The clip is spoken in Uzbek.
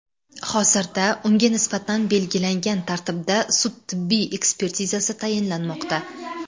Hozirda unga nisbatan belgilangan tartibda sud-tibbiy ekspertizasi tayinlanmoqda.